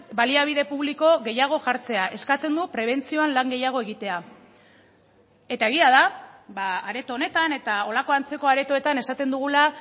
baliabide publiko gehiago jartzea eskatzen du prebentzioan lan gehiago egitea eta egia da areto honetan eta holako antzeko aretoetan esaten dugula